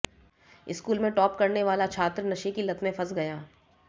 school में top करने वाला छात्र नशे की लत में फंस गया